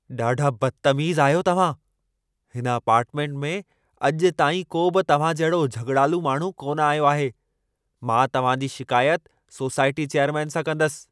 ॾाढा बदतमीज़ आहियो तव्हां। हिन अपार्टमेंट में अॼु ताईं को बि तव्हां जहिड़ो झॻिड़ालू माण्हू कोन आयो आहे। मां तव्हां जी शिकायत सोसाइटी चैयरमेन सां कंदसि।